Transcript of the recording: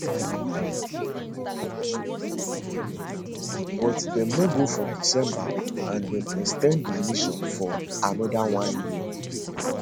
but dem no go for december and dem ex ten d di mission for anoda one year